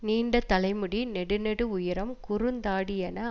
நீண்ட தலை முடி நெடு நெடு உயரம் குறுந்தாடியென